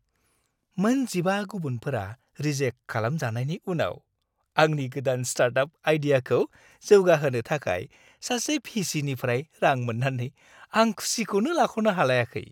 मोन 15 गुबुनफोरा रिजेक्ट खालामजानायनि उनाव आंनि गोदान स्टार्टआप आइडियाखौ जौगाहोनो थाखाय सासे भि.सि.निफ्राय रां मोन्नानै आं खुसिखौनो लाख'नो हालायाखै।